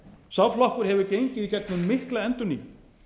sá flokkur hefur gengið í gegnum mikla endurnýjun